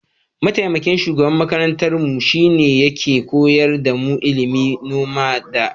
Mataimakin shugaban makarantarmu shine yake koyar damu ilimin noma da kiyo.